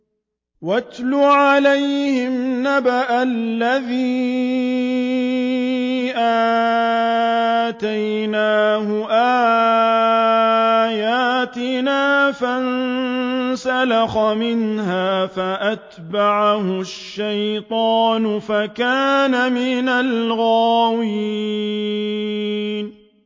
وَاتْلُ عَلَيْهِمْ نَبَأَ الَّذِي آتَيْنَاهُ آيَاتِنَا فَانسَلَخَ مِنْهَا فَأَتْبَعَهُ الشَّيْطَانُ فَكَانَ مِنَ الْغَاوِينَ